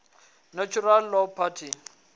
natural law party